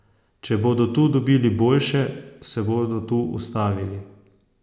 Če bodo tu dobili boljše, se bodo tu ustavili.